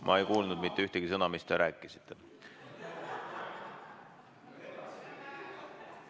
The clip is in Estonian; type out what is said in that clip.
Ma ei kuulnud mitte ühtegi sõna, mis te rääkisite.